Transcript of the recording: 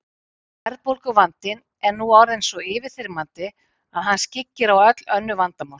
Verðbólguvandinn er nú orðinn svo yfirþyrmandi að hann skyggir á öll önnur vandamál.